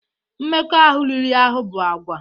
Mmekọahụ riri ahụ bụ àgwà